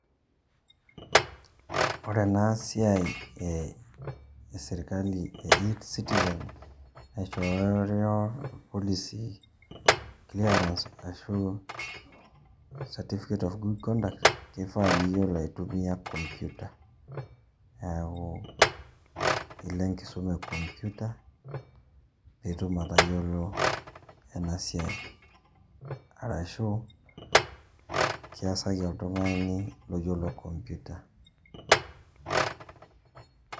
Ore enasiai esirkali e e-citizen, naishoo nyoo olisi clearance, ashu certificate of good conduct, kifaa niyiolo aitumia computer. Neeku ilo enkisuma e computer, pitum atayiolo enasiai. Arashu, kiasaki oltung'ani loyiolo computer.